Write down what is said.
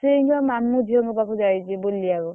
ସିଏ ଏଇଛା ମାମୁଁ ଝିଅଙ୍କ ପାଖକୁ ଯାଇଛି ବୁଲିବାକୁ।